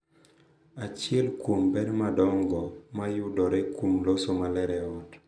Achiel kuom ber madongo ma yudore kuom loso maler e ot .